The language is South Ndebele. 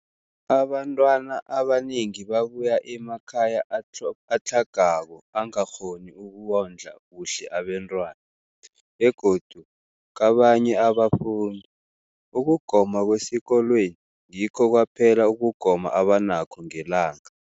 Abantwana abanengi babuya emakhaya atlhagako angakghoni ukondla kuhle abentwana, begodu kabanye abafundi, ukugoma kwesikolweni ngikho kwaphela ukugoma abanakho ngelanga.